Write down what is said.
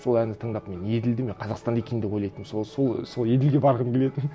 сол әнді тыңдап мен еділді мен қазақстанда екен деп ойлайтынмын сол еділге барғым келетін